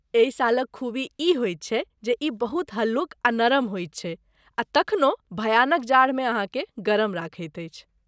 एहि शालक खूबी ई होयत छै जे ई बहुत हल्लुक आ नरम होइत छै आ तखनहुँ भयानक जाड़मे अहाँकेँ गरम रखैत अछि।